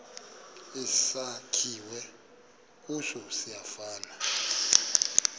esakhiwe kuso siyafana